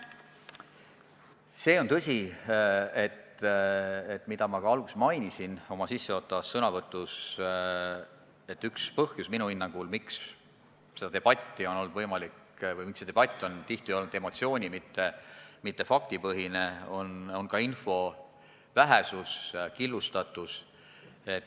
See on tõsi – mainisin seda ka oma sissejuhatavas sõnavõtus –, et minu hinnangul on üks põhjus, miks see debatt on tihti olnud emotsiooni-, mitte faktipõhine, info vähesus ja killustatus.